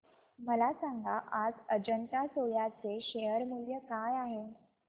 मला सांगा आज अजंता सोया चे शेअर मूल्य काय आहे